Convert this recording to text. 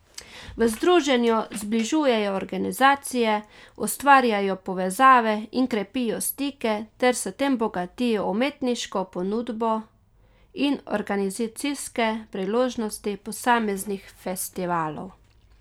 V združenju zbližujejo organizacije, ustvarjajo povezave in krepijo stike ter s tem bogatijo umetniško ponudbo in organizacijske priložnosti posameznih festivalov.